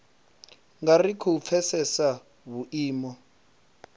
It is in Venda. nga ri khou pfesesa vhuimo